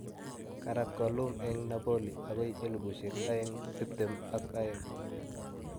keraat Ghoulam en Napoli agoi elispusiek aeng tiptem ag aeng